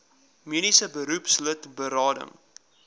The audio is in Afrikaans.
mediese beroepslid berading